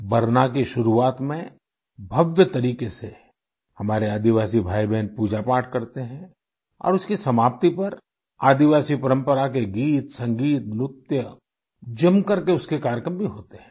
बरना की शुरुआत में भव्य तरीके से हमारे आदिवासी भाईबहन पूजापाठ करते हैं और उसकी समाप्ति पर आदिवासी परम्परा के गीतसंगीत नृत्य जमकर के उसके कार्यक्रम भी होते हैं